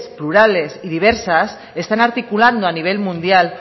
plurales y diversas están articulando a nivel mundial